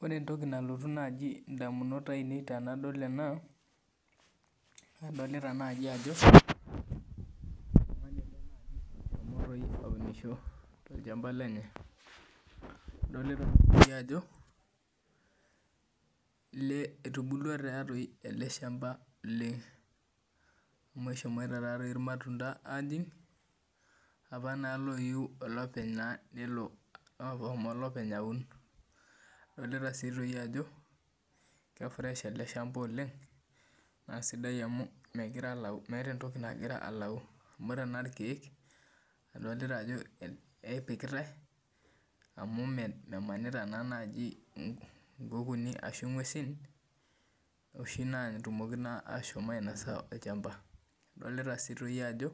Ore entoki naji nalotu indamunot ainei tenadol ena, adolita naji ajo, aunisho tolchamba lenye. Adolita si ajo, etubulua tatoi ele shamba, amu eshomoita tatoi irmatunda ajing', apa naa loyieu olopeny naa nelo olopeny aun. Adolita si toi ajo, ke fresh ele shamba oleng, na sidai amu megira alau meeta entoki nagira alau amu tenaa irkeek, adolita ajo epikitai, amu memanita naa naji inkukuuni ashu ng'uesin, oshi natumoki naa ashomo ainasa olchamba. Adolita si toi ajo,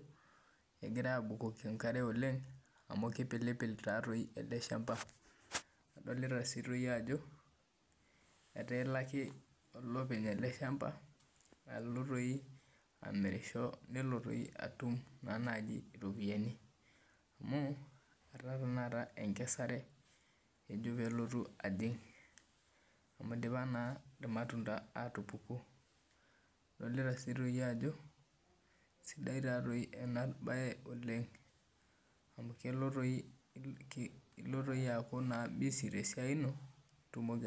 egirai abukoki enkare oleng, amu kipilipil tatoi ele shamba. Adolita si toi ajo, etaa elo ake olopeny ele shamba alo toi amirisho nelo toi atum naa naji iropiyiani. Amu, etaa enkesare ejo pelotu ajing'. Amu idipa naa irmatunda atupuku. Adolita si toi ajo, sidai tatoi enabae oleng, amu kelo toi ilo toi aku naa busy tesiai ino, nitumoki